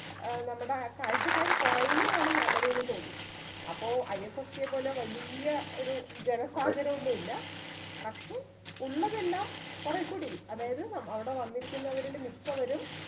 ഏർ നമ്മടെ കാഴ്ചക്കാര് കൊറയുമ്പോണ് നല്ലത്ന്നു തോന്നി അപ്പൊ IFFK യെപ്പോലെ വല്യ ഒരു ജനസാഗരം ഒന്നുല്ല പക്ഷെ ഉള്ളതെല്ലാം കൊറെ കൂടി അതായത് അവിടെ വന്നിരിക്കുന്നവരില് മിക്കവരും